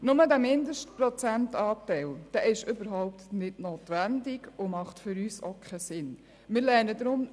Nur ist der Mindestprozentanteil überhaupt nicht notwendig und ergibt aus unserer Sicht auch keinen Sinn.